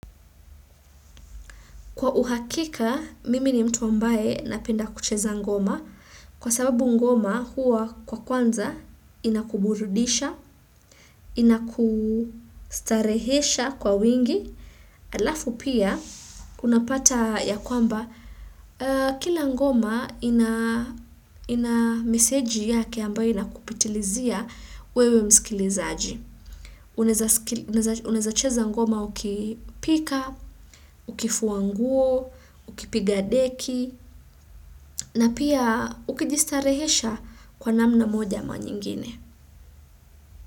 Kwa uhakika, mimi ni mtu ambaye napenda kucheza ngoma kwa sababu ngoma huwa kwa kwanza inakuburudisha, inakustarehesha kwa wingi. Alafu pia, unapata ya kwamba kila ngoma ina meseji yake ambayo inakupitilizia wewe msikilizaji. Unaweza cheza ngoma ukipika, ukifua nguo, ukipiga deki na pia ukijistarehesha kwa namna moja ama nyingine.